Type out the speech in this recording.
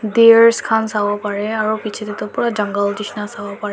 deer khan sabo pare aru piche te tu pura jungle jisna sabo pare.